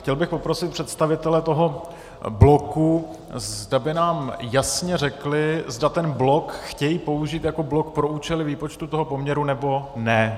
Chtěl bych poprosit představitele toho bloku, zda by nám jasně řekli, zda ten blok chtějí použít jako blok pro účely výpočtu toho poměru, nebo ne.